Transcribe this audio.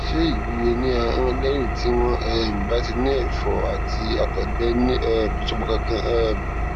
ṣé ìwúwo ní ahọn lẹyìn tí wọn um bá ti ní ẹfọ àti àtọgbẹ ní um ìsopọ kankan um